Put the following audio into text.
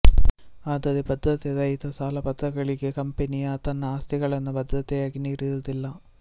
ಆದರೆ ಭದ್ರತೆ ರಹಿತ ಸಾಲಪತ್ರಗಳಿಗೆ ಕಂಪನಿಯು ತನ್ನ ಆಸ್ತಿಗಳನ್ನು ಭದ್ರತೆಯಾಗಿ ನೀಡಿರುವುದಿಲ್ಲ